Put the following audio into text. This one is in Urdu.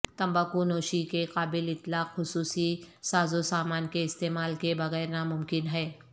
تمباکو نوشی کے قابل اطلاق خصوصی سازوسامان کے استعمال کے بغیر ناممکن ہے